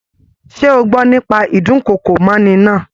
Ṣe o gbọ́ nípa ídùnkokò mọ́'ni náà?